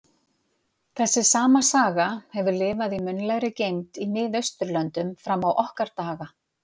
Þessi sama saga hefur lifað í munnlegri geymd í Mið-Austurlöndum fram á okkar daga.